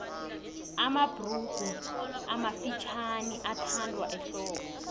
mabhurugu amafutjhaniathandwa ehlobo